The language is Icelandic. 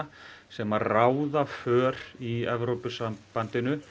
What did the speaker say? sem ráða för í Evrópusambandinu